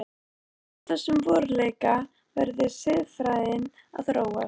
Frá þessum veruleika verði siðfræðin að þróast.